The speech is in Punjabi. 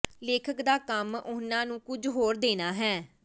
ਲੇਖਕ ਦਾ ਕੰਮ ਉਹਨਾਂ ਨੂੰ ਕੁਝ ਹੋਰ ਦੇਣਾ ਹੈ